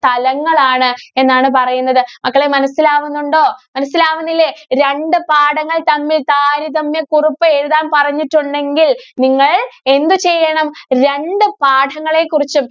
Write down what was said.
തലങ്ങളാണ് എന്നാണ് പറയുന്നത്. മക്കളേ മനസ്സിലാവുന്നുണ്ടോ? മനസ്സിലാവുന്നില്ലേ. രണ്ടു പാഠങ്ങള്‍ തമ്മില്‍ താരതമ്യകുറിപ്പ് എഴുതാന്‍ പറഞ്ഞിട്ടുണ്ടെങ്കില്‍ നിങ്ങള്‍ എന്തു ചെയ്യണം. രണ്ടു പാഠങ്ങളേ കുറിച്ചും